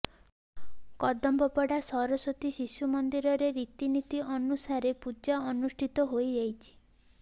କଦମ୍ୱପଡା ସରସ୍ୱତୀ ଶିଶୁ ମନ୍ଦିରରେ ରୀତି ନୀତି ଅନୁସାରେ ପୂଜା ଅନୁଷ୍ଠିତ ହୋଇଯାଇଛି